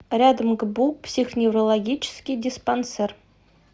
рядом гбу психоневрологический диспансер